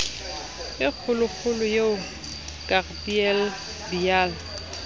e kgolokgolo eo gabriel biala